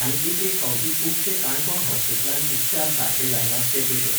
आनी एक एक फावटी खुबशे काणकोण हॉस्पिटलान उपचार सारके जायनात ते पेशंट.